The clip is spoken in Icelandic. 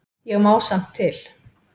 Ég má samt til.